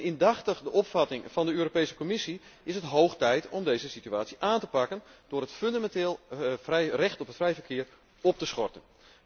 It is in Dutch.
Indachtig de opvatting van de Europese Commissie is het hoog tijd om deze situatie aan te pakken door het fundamenteel recht op vrij verkeer op te schorten.